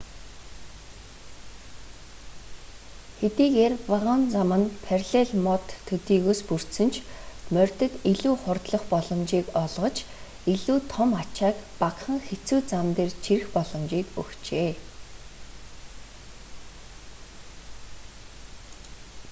хэдийгээр вагон зам нь параллель мод төдийгөөс бүрдсэн ч морьдод илүү хурдлах боломжийг олгож илүү том ачааг багахан хэцүү зам дээр чирэх боломжийг өгчээ